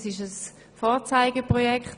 Es ist ein Vorzeigeprojekt.